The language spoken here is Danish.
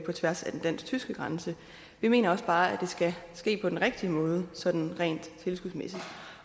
tværs af den dansk tyske grænse vi mener også bare at det skal ske på den rigtige måde sådan rent tilskudsmæssigt